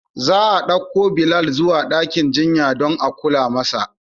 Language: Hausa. Za a ɗauko Bilal zuwa dakin jinya don a kula masa.